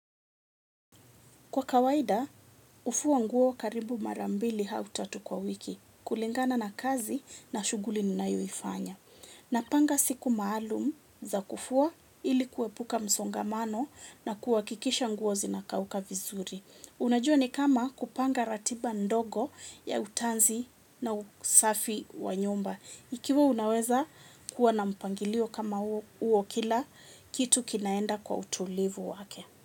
Kwa kawaida, hufua nguo karibu mara mbili au tatu kwa wiki, kulingana na kazi na shughuli ninayoifanya. Napanga siku maalum za kufua ili kuepuka msongamano na kuhakikisha nguo zinakauka vizuri. Unajua ni kama kupanga ratiba ndogo ya utanzi na usafi wa nyumba. Ikiwa unaweza kuwa na mpangilio kama huo kila kitu kinaenda kwa utulivu wake.